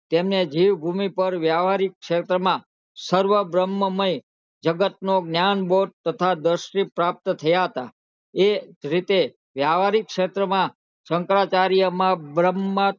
તેમને જીવ ભૂમિ પર વ્યહવારિક શેત્ર માં સર્વ બ્રહ્મ મય જગત નું જ્ઞાન બોધ તથા દસવી પ્રાપ્ત થયા હતા એજ રીતે વ્યહવારિક સેહતર માં શંકરાચાર્ય ના માં